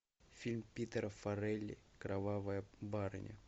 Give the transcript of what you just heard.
фильм питера фарелли кровавая барыня